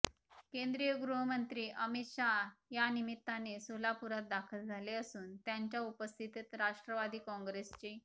केंद्रीय गृहमंत्री अमित शहा यानिमित्ताने सोलापुरात दाखल झाले असून त्यांच्या उपस्थितीत राष्ट्रवादी काँग्रेसचे